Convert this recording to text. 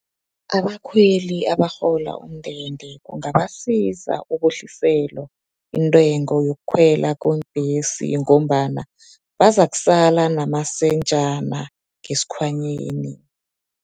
Abakhweli abarhola umndende, kungabasiza ukwehliselwa intengo, yokukhwela kweembhesi, ngombana abazakusala namasentjana ngesikhwanyeni.